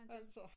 Altså